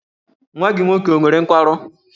Nwa gị nwoke ọ nwere nkwarụ?